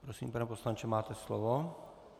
Prosím, pane poslanče, máte slovo.